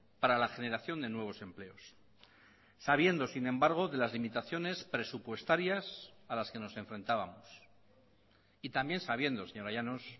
para la generación de nuevos empleos sabiendo sin embargo de las limitaciones presupuestarias a las que nos enfrentábamos y también sabiendo señora llanos